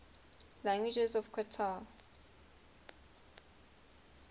languages of qatar